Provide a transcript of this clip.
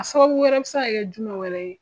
A sababu wɛrɛ bi se ka kɛ jumɛ wɛrɛ ye?